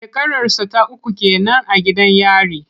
Shekararsa ta uku ke nan a gidan yari.